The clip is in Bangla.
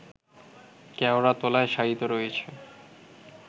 কেওড়াতলায় শায়িত রয়েছে